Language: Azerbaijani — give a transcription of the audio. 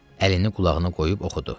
Əlini qulağına qoyub oxudu.